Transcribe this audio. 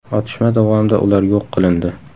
Otishma davomida ular yo‘q qilindi.